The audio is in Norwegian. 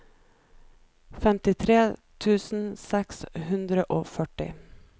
femtitre tusen seks hundre og førti